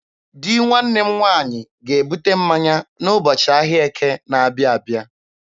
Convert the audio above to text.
Di nwanne m nwaanyị ga-ebute mmanya n'ụbọchị ahịa Eke na-abịa abịa.